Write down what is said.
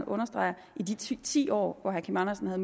understreger i de ti ti år hvor herre kim andersen havde